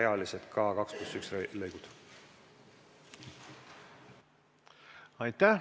Aitäh!